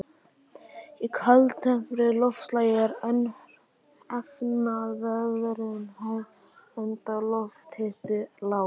Í kaldtempruðu loftslagi er efnaveðrunin hæg enda lofthiti lágur.